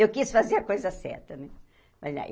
Eu quis fazer a coisa certa, né? Mas aí